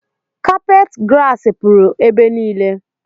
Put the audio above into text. Kapet grasi pụrụ ebe niile